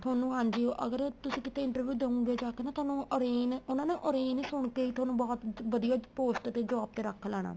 ਤੁਹਾਨੂੰ ਹਾਂਜੀ ਅਗਰ ਤੁਸੀਂ ਕਿਥੇ interview ਦਓਗੇ ਜਾਕੇ ਤੁਹਾਨੂੰ orange ਉਹਨਾ ਨੇ orange ਸੁਣਕੇ ਹੀ ਤੁਹਾਨੂੰ ਬਹੁਤ ਵਧੀਆ post ਤੇ job ਤੇ ਰੱਖ ਲੈਣਾ